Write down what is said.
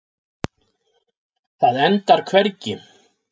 Það endar hvergi.